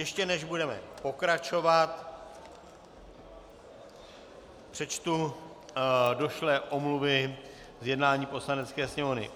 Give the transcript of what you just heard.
Ještě než budeme pokračovat, přečtu došlé omluvy z jednání Poslanecké sněmovny.